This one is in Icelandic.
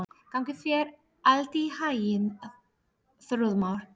Gangi þér allt í haginn, Þrúðmar.